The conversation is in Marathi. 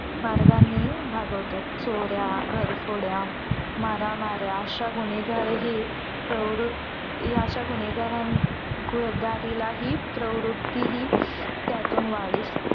मार्गांनी भागवतात. चोऱ्या, घरफोड्या, माऱ्यामाऱ्या अशा गुनेगारही प्रवृत्त या अश्या गुन्हेगारान गुनेगारीला हि प्रवृत्ती हि त्यातून वाडीस